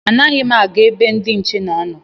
Anaghị m aga ebe ndị nche na-anọ